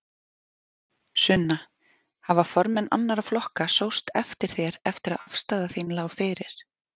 Sunna: Hafa formenn annarra flokka sóst eftir þér eftir að afstaða þín lá fyrir?